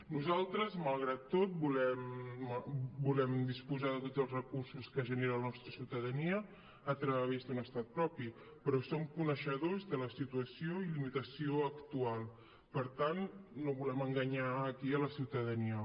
nosaltres malgrat tot volem disposar de tots els recursos que genera la nostra ciutadania a través d’un estat propi però som coneixedors de la situació i limitació actual per tant no volem enganyar aquí la ciutadania